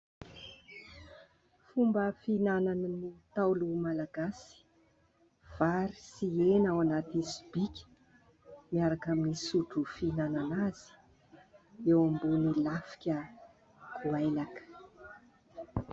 Fomba fihinan'ny Ntaolo Malagasy vary sy hena ao anaty sobiky, miaraka amin'ny sotro fihinana azy eo ambony lafika goailaka.